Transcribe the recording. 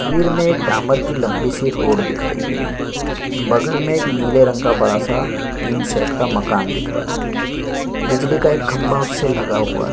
वीर में एक डामर की लम्बी सी रोड दिख रही है बगल में एक नीला रंग का बड़ा सा तीन सेट का मकान दिख रहा है बिजली का एक खम्बा उससे लगा हुआ है ।